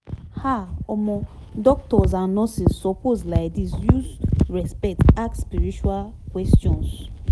ah omo doctors and nurses suppose laidis use respect ask spiritual questions